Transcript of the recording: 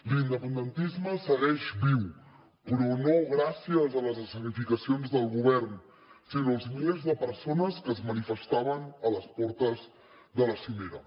l’independentisme segueix viu però no gràcies a les escenificacions del govern sinó als milers de persones que es manifestaven a les portes de la cimera